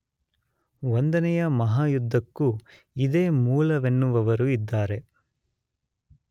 ಒಂದನೆಯ ಮಹಾಯುದ್ಧಕ್ಕೂ ಇದೇ ಮೂಲವೆನ್ನುವವರೂ ಇದ್ದಾರೆ.